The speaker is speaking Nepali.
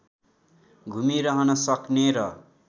घुमिरहन सक्ने र